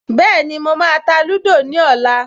Bẹ́ẹ̀ni, mo máa ta lúdò ní ọ̀la